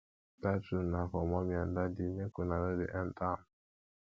dat room na for mummy and daddy make una no dey enta am